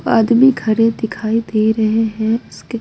बाद में खड़े दिखाई दे रहे हैं उसके--